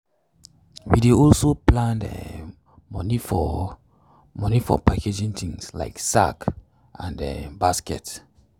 we dey also plan um money for money for packaging things like sack crate and um basket.